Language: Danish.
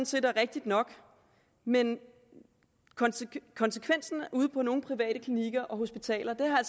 set er rigtigt nok men konsekvensen ude på nogle private klinikker og hospitaler